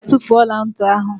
Gaa tufuo ọla ntị ahụ!